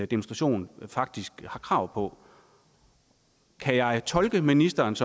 demonstration faktisk har krav på kan jeg tolke ministerens